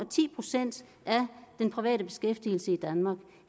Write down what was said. ti procent af den private beskæftigelse i danmark